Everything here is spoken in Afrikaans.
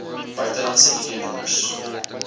buitelandse id nommers